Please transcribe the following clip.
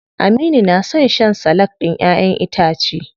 Aminu na son shan salak ɗin ƴaʼƴen itace.